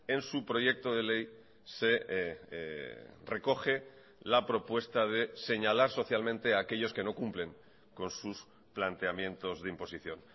en su proyecto de ley se recoge la propuesta de señalar socialmente a aquellos que no cumplen con sus planteamientos de imposición